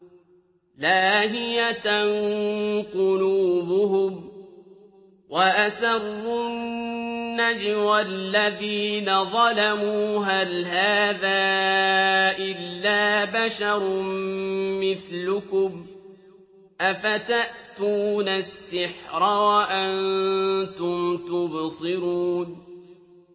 لَاهِيَةً قُلُوبُهُمْ ۗ وَأَسَرُّوا النَّجْوَى الَّذِينَ ظَلَمُوا هَلْ هَٰذَا إِلَّا بَشَرٌ مِّثْلُكُمْ ۖ أَفَتَأْتُونَ السِّحْرَ وَأَنتُمْ تُبْصِرُونَ